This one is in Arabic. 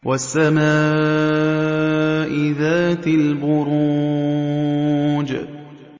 وَالسَّمَاءِ ذَاتِ الْبُرُوجِ